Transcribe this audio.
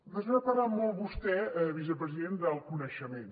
després ha parlat molt vostè vicepresident del coneixement